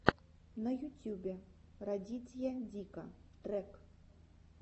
на ютюбе радитья дика трек